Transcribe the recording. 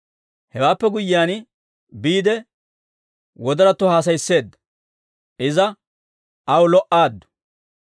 Hewaappe guyyiyaan biide, wodoratto haasayisseedda; iza aw lo"aaddu.